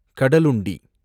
Kadalundi